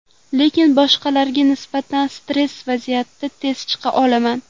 Lekin boshqalarga nisbatan stress vaziyatdan tez chiqa olaman.